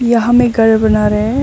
यहां में घर बना रहे हैं।